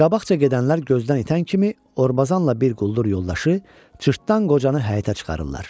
Qabaqca gedənlər gözdən itən kimi Orbazanla bir quldur yoldaşı cırtdan qocanı həyətə çıxarırlar.